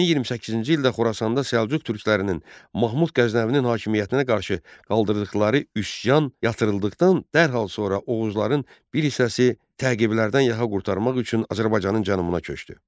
1028-ci ildə Xorasanda Səlcuq türklərinin Mahmud Qəznəvinin hakimiyyətinə qarşı qaldırdıqları üsyan yatırıldıqdan dərhal sonra Oğuzların bir hissəsi təqiblərdən yaxa qurtarmaq üçün Azərbaycanın cənubuna köçdü.